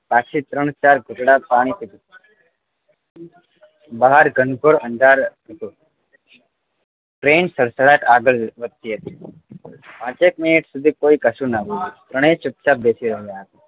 પાછી ત્રણ ચાર ઘૂંટડા પાણી પીધું બહાર ઘનઘોર અંધારું હતું train સડસડાટ આગળ વધતી હતી પાંચેક મિનિટ સુધી કોઈ કશુ નાં બોલ્યું ત્રણેય ચૂપ ચાપ બેસી રહ્યા હતા